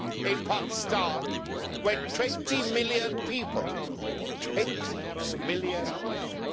in Pakistan when 20 million people 20 million people!